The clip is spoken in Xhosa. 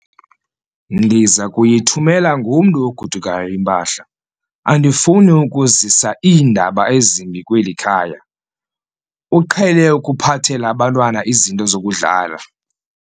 Ndiza kuyithumela ngomntu ogodukayo impahla. andifuni ukuzisa iindaba ezimbi kweli khaya, uqhele ukuphathela abantwana izinto zokudlala